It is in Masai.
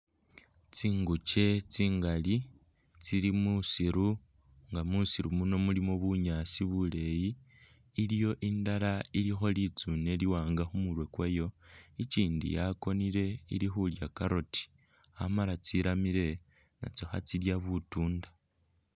Tsinguche tsingali nga tsili musiru nga musiru muno mulimo bunyaasi buleeyi, iliwo indala ilikho litsune liwanga khumurwe kwayo, ichindu yakonile ilikhulya carrot Amala tsiramile nakyo khatsilya butunda